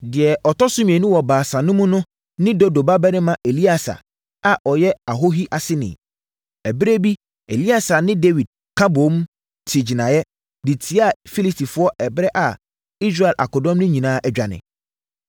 Deɛ ɔtɔ so mmienu wɔ Baasa no mu no ne Dodo babarima Eleasa a ɔyɛ Ahohi aseni. Ɛberɛ bi Eleasa ne Dawid ka boom, te gyinaeɛ, de tiaa Filistifoɔ ɛberɛ a Israel akodɔm no nyinaa adwane.